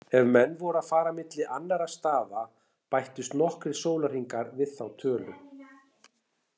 Ef menn voru að fara milli annarra staða bættust nokkrir sólarhringar við þá tölu.